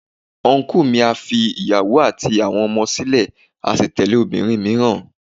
Ọnkú mi a fi ìyàwó àti àwọn ọmọ sílè a sì tẹ̀lé obìnrin mìíràn.